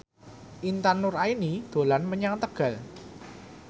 Intan Nuraini dolan menyang Tegal